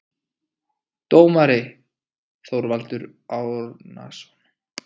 Dómari: Þorvaldur Árnason